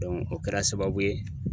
o kɛra sababu ye